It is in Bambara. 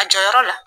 A jɔyɔrɔ la